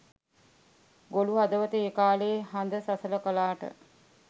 ගොළු හදවත ඒ කාලෙ හද සසල කලාට